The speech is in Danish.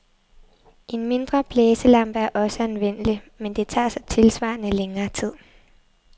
En mindre blæselampe er også anvendelig, men det tager så tilsvarende længere tid.